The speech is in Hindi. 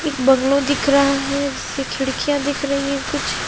एक बगलों दिख रहा है जिसकी खिडकिया दिख रही है कुछ--